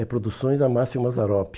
É Produções Amácio Mazzaropi.